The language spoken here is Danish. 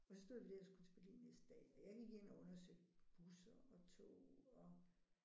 Og så stod vi der og skulle til Berlin næste dag og jeg gik ind og undersøgte busser og tog og